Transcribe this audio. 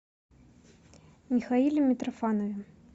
михаиле митрофанове